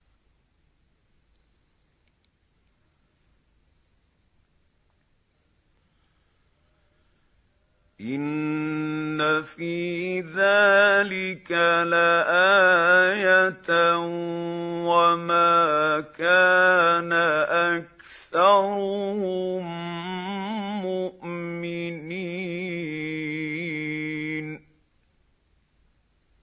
إِنَّ فِي ذَٰلِكَ لَآيَةً ۖ وَمَا كَانَ أَكْثَرُهُم مُّؤْمِنِينَ